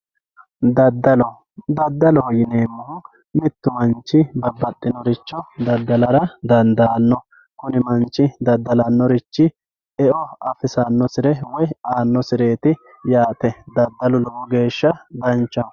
dadallo dadaloho yinemohu mittu manchi babaxinoricho dadalara danidano kunni manchi dadalanorichi eo afisanosire woyi anosireti yate dadalu lowo gesha danchaho